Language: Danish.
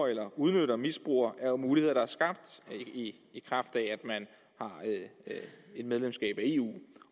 eller udnytter og misbruger er jo muligheder der er skabt i kraft af at man har et medlemskab af eu